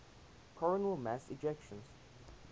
coronal mass ejections